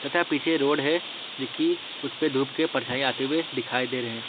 तथा पीछे रोड है जो कि उस पे धूप के परछाई आते हुए दिखाई दे रहे हैं।